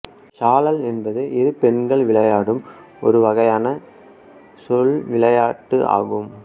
சாழல் என்பது இரு பெண்கள் விளையாடும் ஒரு வகையான சொல்விளையாட்டு ஆகும்